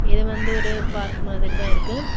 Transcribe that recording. இது வந்து ஒரு பார்க் மாதிரி தான் இருக்கு.